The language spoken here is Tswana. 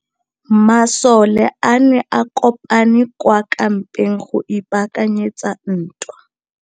Masole a ne a kopane kwa kampeng go ipaakanyetsa ntwa.